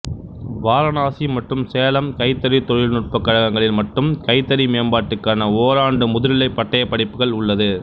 வாரணாசி மற்றும் சேலம் கைத்தறி தொழில் நுட்பக் கழங்களில் மட்டும் கைத்தறி மேம்பாட்டுக்கான ஒராண்டு முதுநிலை பட்டயப் படிப்புகள் உள்ளது